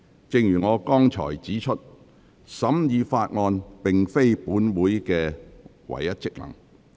正如我剛才指出，審議法案並非本會的唯一職能。